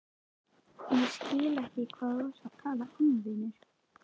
Ég skil ekki hvað þú ert að tala um, vinurinn.